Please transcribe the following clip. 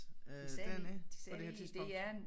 De sagde de sagde i DR